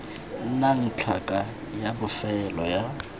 nnang tlhaka ya bofelo ya